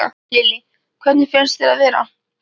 Lillý: Hvernig finnst þér að vera?